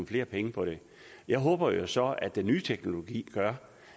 flere penge på det jeg håber jo så at den nye teknologi gør